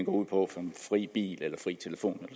ud på som fri bil eller fri telefon